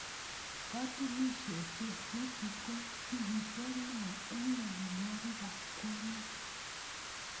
Katunisiosechu ko tigitiot neo eng nyolilwokikab kwonyik